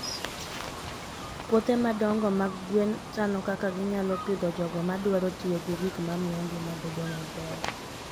Puothe madongo mag gwen chano kaka ginyalo pidho jogo madwaro tiyo gi gik mamiyo ngima bedo maber.